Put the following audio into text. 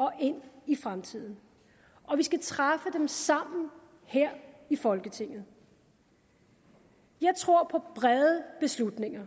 og ind i fremtiden og vi skal træffe dem sammen her i folketinget jeg tror på brede beslutninger